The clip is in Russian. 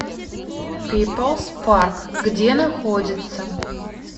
пиплс парк где находится